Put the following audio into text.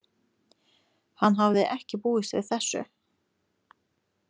Hann hafði ekki búist við þessu.